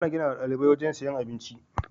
Ana ginawa ɗalibai wajan siyan abinci